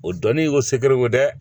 O dɔnni ko segerew